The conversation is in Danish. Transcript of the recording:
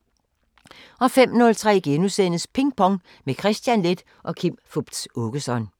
05:03: Ping Pong – med Kristian Leth og Kim Fupz Aakeson *